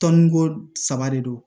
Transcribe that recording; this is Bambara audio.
Tɔnniko saba de don